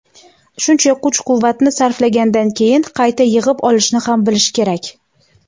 Shuncha kuch-quvvatni sarflagandan keyin qayta yig‘ib olishni ham bilish kerak.